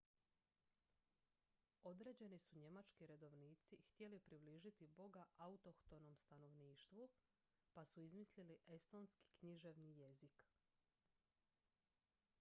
određeni su njemački redovnici htjeli približiti boga autohtonom stanovništvu pa su izmislili estonski književni jezik